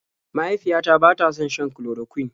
Mahaifiyata bata son shan chloroquine.